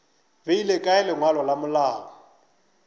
beile kae lengwalo la malao